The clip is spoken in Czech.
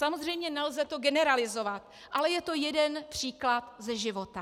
Samozřejmě nelze to generalizovat, ale je to jeden příklad ze života.